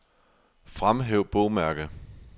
Fremhæv bogmærke.